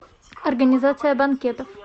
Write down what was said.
организация банкетов